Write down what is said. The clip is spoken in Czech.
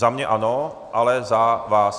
Za mě ano, ale za vás?